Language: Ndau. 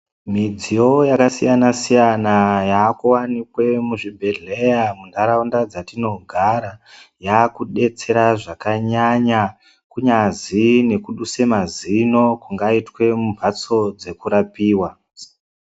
Midziyo yakasiyanasiyana yakuwanikwe muzvibhehleya munharaunda dzatinogara yakudetsera zvakanyanya kunyazwine kuduse mazino kungaitwe mumhatso dzekurapiwa.